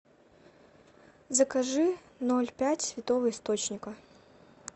закажи ноль пять святого источника